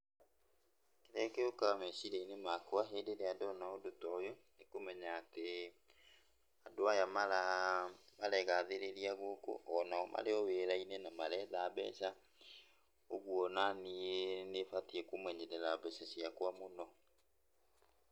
Kĩrĩa gĩũkaga meciria-inĩ makwa, hĩndĩ ĩrĩa ndona ũndũ ta ũyũ nĩkũmenya atĩ, andũ aya maregathĩrĩria gũkũ, onao marĩ o wĩra-inĩ na maretha mbeca, ũguo onaniĩ nĩbatiĩ kũmenyerera mbeca ciakwa mũno.